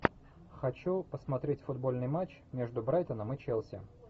хочу посмотреть футбольный матч между брайтоном и челси